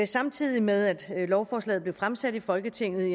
samtidig med at lovforslaget blev fremsat i folketinget